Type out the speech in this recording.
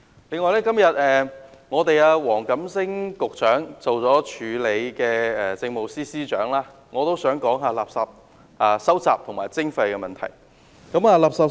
此外，今天兼任政務司司長的黃錦星局長在席，我也想談垃圾收集及徵費問題。